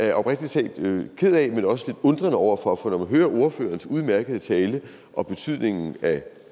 jeg oprigtig talt er ked af men også lidt undrende over for for når man hører ordførerens udmærkede tale om betydningen af